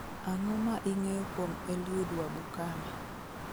ang'o ma ing'eyo kuom eliud wabukala